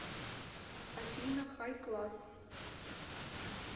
афина хайкласс